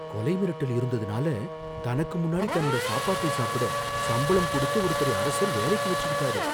கொலை மிரட்டல் இருந்ததுனால, தனக்கு முன்னாடி தன்னோட சாப்பாட்டை சாப்பிட சம்பளம் குடுத்து ஒருத்தரை அரசர் வேலைக்கு வெச்சுக்கிட்டாரு.